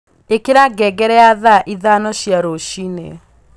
ĩikira ngengere ya thaa ithano cia rũcinĩ